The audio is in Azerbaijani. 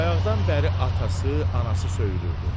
Bayaqdan bəri atası, anası söyülürdü.